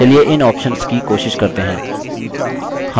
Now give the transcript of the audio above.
चलिए इन options की कोशिश करते हैं